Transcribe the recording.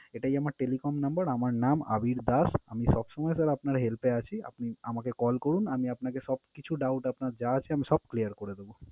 এটাই আমার telephone number । আমার নাম আবীর দাশ। আমি সবসময় sir আপনার help এ আছি। আপনি আমাকে call করুন, আমি আপনাকে সবকিছু doubt আপনার যা আছে আমি সব clear করে দেবো।